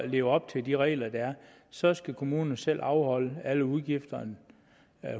lever op til de regler der er så skal kommunerne selv afholde alle udgifterne